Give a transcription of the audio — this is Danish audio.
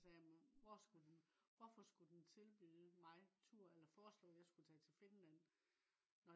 så sagde jeg hvor skulle den hvorfor skulle den tilbyde mig tur eller forslå at jeg skulle tage til finland